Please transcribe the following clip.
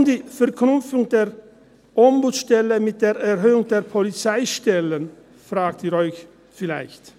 Warum die Verknüpfung der Ombudsstelle mit der Erhöhung der Polizeistellen?», fragen Sie sich vielleicht.